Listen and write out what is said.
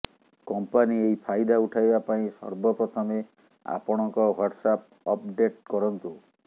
company ଏହି ଫାଇଦା ଉଠାଇବା ପାଇଁ ସର୍ବପ୍ରଥମେ ଆପଣଙ୍କ ହ୍ୱାଟ୍ସଆପ୍ ଅପଡେଟ୍ କରନ୍ତୁ